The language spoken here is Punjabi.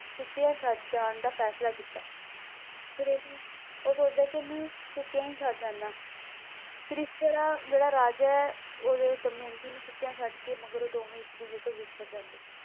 ਸੁੱਤਿਆਂ ਛੱਡ ਜਾਣ ਦਾ ਫ਼ੈਸਲਾ ਕੀਤਾ, ਫਿਰ ਉਹਨੂੰ ਉਹ ਸੋਚਦਾ ਕਿ ਉਹਨੂੰ ਸੁੱਤਿਆਂ ਹੀ ਛੱਡ ਜਾਨਾ ਫਿਰ ਇਸ ਤਰ੍ਹਾਂ ਜਿਹੜਾ ਰਾਜਾ ਹੈ ਉਹ ਜਦੋਂ ਦਮਿਅੰਤੀ ਨੂੰ ਸੁੱਤਿਆਂ ਛੱਡਕੇ ਮਗਰੋਂ ਦੋਵੇਂ ਇੱਕ ਦੂਜੇ ਤੋਂ ਵਿਛੜ ਜਾਂਦੇ ਆ,